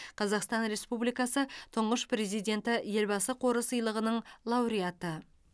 қазақстан республикасы тұңғыш президенті елбасы қоры сыйлығының лауреаты